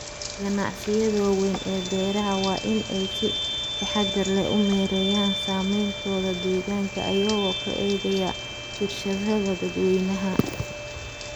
Ganacsiyada waaweyn ee beeraha waa in ay si taxadar leh u maareeyaan saameyntooda deegaanka iyagoo ka eegaya fiirsashada dadweynaha.